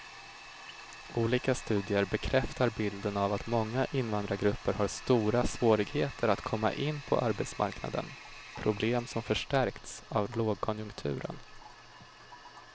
Olika studier bekräftar bilden av att många invandrargrupper har stora svårigheter att komma in på arbetsmarknaden, problem som förstärkts av lågkonjunkturen.